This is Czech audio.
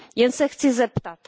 Jen se chci zeptat.